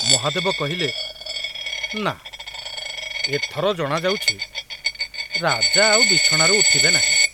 ମହାଦେବ କହିଲେ, ନା, ଏଥର ଜଣାଯାଉଛି ରାଜା ଆଉ ବିଛଣାରୁ ଉଠିବେ ନାହିଁ।